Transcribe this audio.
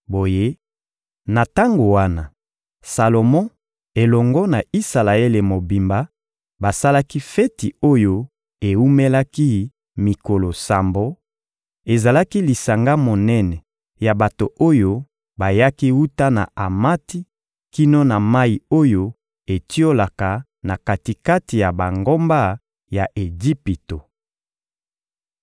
Boye, na tango wana, Salomo elongo na Isalaele mobimba basalaki feti oyo ewumelaki mikolo sambo; ezalaki lisanga monene ya bato oyo bayaki wuta na Amati kino na mayi oyo etiolaka na kati-kati ya bangomba ya Ejipito.